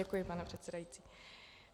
Děkuji, pane předsedající.